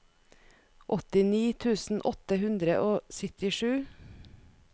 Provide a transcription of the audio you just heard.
åttini tusen åtte hundre og syttisju